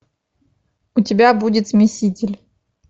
у тебя будет смеситель